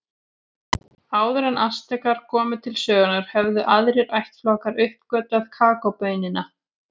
Áður en Astekar komu til sögunnar höfðu aðrir ættflokkar uppgötvað kakóbaunina.